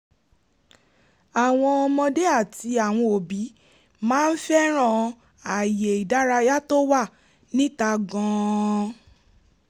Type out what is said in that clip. àwọn ọmọdé àti àwọn òbí máa ń fẹ́ràn ààyè ìdárayá tó wà níta gan-an